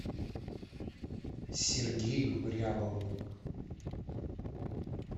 сергею рябову